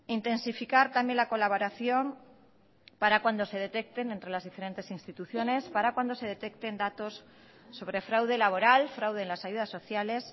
intensificar también la colaboración para cuando se detecten entre las diferentes instituciones para cuando se detecten datos sobre fraude laboral fraude en las ayudas sociales